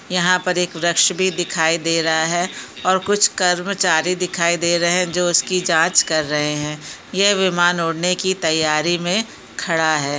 यहाँ पर एक वृक्ष भी दिखाई दे रहा है और कुछ कर्मचारी दिखाई दे रहे है जो उसकी जो उसकी जाँच कर रहै हैं यह विमान उढ़ने की तैयारी मे खड़ा हैं।